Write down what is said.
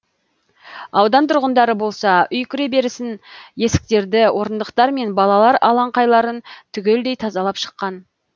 аудан тұрғындары болса үй кіреберісін есіктерді орындықтар мен балалар алаңқайларын түгелдей тазалап шыққан